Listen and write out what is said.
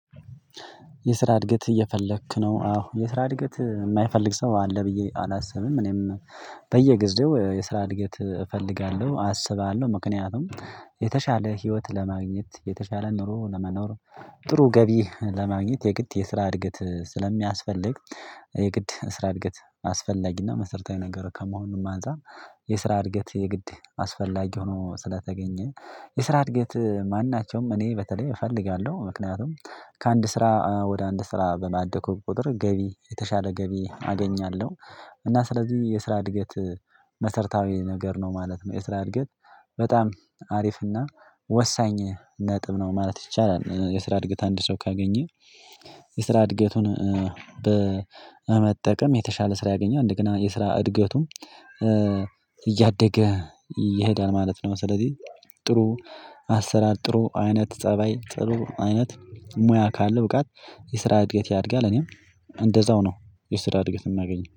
የስራ እድገት እየፈለክ ነው አዎ የስራ እድገት የማይፈልግ ሰው አለ ብዬ አላስብም። እኔም በየጊዜው የስራ እድገት እፈልጋለሁ አስባለሁ ምክንያቱም የተሻለ ህይወት ለማግኘት የተሻለ ኑሮ ለመኖር። ጥሩ ገቢ ለማግኘት የግድ የስራ እድገት ስለሚያስፈልግ። የግድ የስራ እድገት አስፈላጊና መሰረታዊ ነገር ከመሆኑም አንፃር። የስራ እድገት የግድ አስፈላጊ ሆኖ ስለተገኘ የስራ እድገት ማናቸውም እኔ በተለይ እፈልጋለሁ ምክንያቱም ከአንድ ስራ ወደ አንድ ስራ ባደኩ ቁጥር ገቢ የተሻለ ገቢ አገኛለሁ። እና ስለዚህ የስራ እድገት መሰርታዊ ነገር ነው ማለት ነው። የስራ እድገት በጣም አሪፍና ወሳኝ ነጥብ ነው ማለት ይቻላል። የስራ እድገት አንድ ሰው ካገኘ የስራ እድገቱን በመጠቀም የተሻለ ስራ ያገኘው እንደገና የስራ እድገቱም እያደገ ይሄዳል ማለት ነው። ስለዚህ ጥሩ አሰራር ጥሩ አይነት ፀባይ ጥሩ አይነት ሙያ ካለ ብቃት የስራ እድገት ያድጋል። እኔም እንደዛው ነው የስራ እድገት የምናገኘው